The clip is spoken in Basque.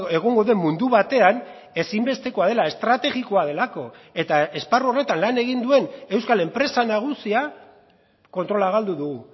egongo den mundu batean ezinbestekoa dela estrategikoa delako eta esparru horretan lan egin duen euskal enpresa nagusia kontrola galdu du